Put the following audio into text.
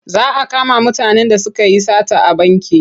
Za a kama mutanen da suka yi sata a banki.